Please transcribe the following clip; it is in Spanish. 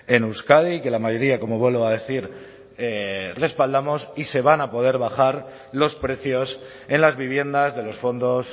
en euskadi y que la mayoría como vuelvo a decir respaldamos y se van a poder bajar los precios en las viviendas de los fondos